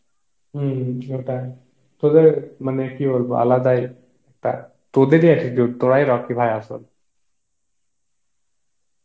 হম সেটাই তদের মানে কি বলব আলাদাই তা তদের এ attitude, তোরাই রকি ভাই আসল